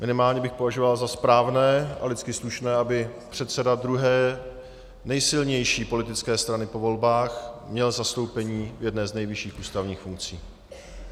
Minimálně bych považoval za správné a lidsky slušné, aby předseda druhé nejsilnější politické strany po volbách měl zastoupení v jedné z nejvyšších ústavních funkcí.